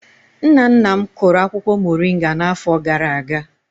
Nna nna m kụrụ akwukwo moringa n'afọ gara-aga.